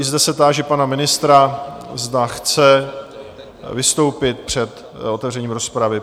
I zde se táži pana ministra, zda chce vystoupit před otevřením rozpravy?